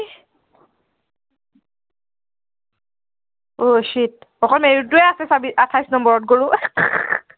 আহ cheat অকল marron টোৱে আছে চাবি, আঠাইশ নম্বৰত,